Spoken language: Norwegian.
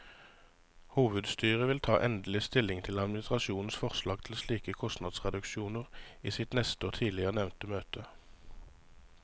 Hovedstyret vil ta endelig stilling til administrasjonens forslag til slike kostnadsreduksjoner i sitt neste og tidligere nevnte møte.